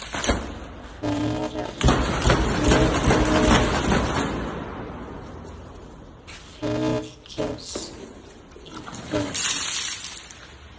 Hver var fyrirliði Fylkis í fyrra?